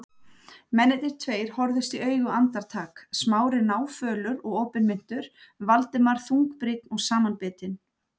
Mennirnir tveir horfðust í augu andartak, Smári náfölur og opinmynntur, Valdimar þungbrýnn og samanbitinn.